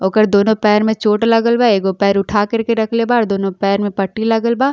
ओकर दोनों पैर में चोट लागल बा। एगो पैर उठा कर के रखले बा और दुनो पैर में पट्टी लागल बा।